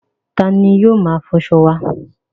Ta ni yóò máa fọṣọ wá?